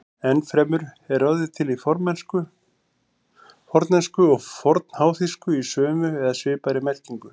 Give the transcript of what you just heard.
Enn fremur er orðið til í fornensku og fornháþýsku í sömu eða svipaðri merkingu.